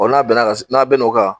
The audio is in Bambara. n'a' bɛn'a ka s n'a' bɛn'o kan